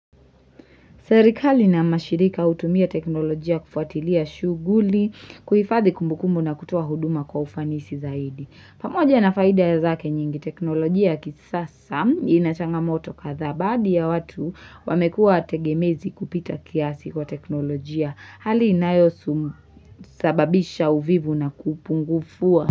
Serikali na mashirika hutumia teknolojia kufuatilia shughuli, kuhifadhi kumbukumbu na kutoa huduma kwa ufanisi zaidi. Pamoja na faida ya zake nyingi teknolojia ya kisasa inachangamoto kadhaa baadhi ya watu wamekuwa tegemezi kupita kiasi kwa teknolojia. Hali inayosu sababisha uvivu na kupungufua.